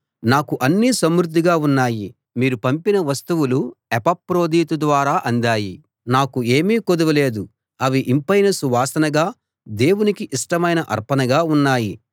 నాకు అన్నీ సమృద్ధిగా ఉన్నాయి మీరు పంపిన వస్తువులు ఎపఫ్రొదితు ద్వారా అందాయి నాకు ఏమీ కొదువ లేదు అవి ఇంపైన సువాసనగా దేవునికి ఇష్టమైన అర్పణగా ఉన్నాయి